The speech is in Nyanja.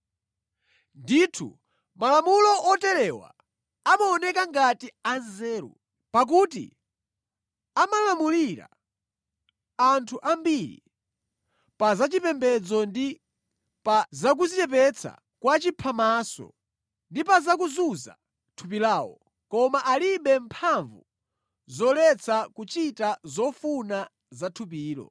Ndithu malamulo oterewa amaoneka ngati anzeru, pakuti amalamulira anthu ambiri pa zachipembedzo ndi pa zakudzichepetsa kwa chiphamaso, ndi pa zakuzunza thupi lawo, koma alibe mphamvu zoletsa kuchita zofuna za thupilo.